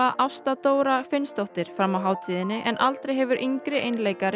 Ásta Dóra Finnsdóttir fram á hátíðinni en aldrei hefur yngri einleikari